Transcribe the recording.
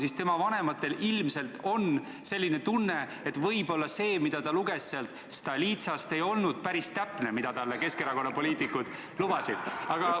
Siis tema vanematel ilmselt on selline tunne, et võib-olla see, mida ta luges Stolitsast, ei olnud päris täpne, Keskerakonna poliitikud lubasid talle midagi muud.